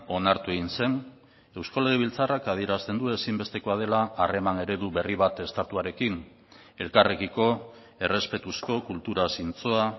onartu egin zen eusko legebiltzarrak adierazten du ezinbestekoa dela harreman eredu berri bat estatuarekin elkarrekiko errespetuzko kultura zintzoa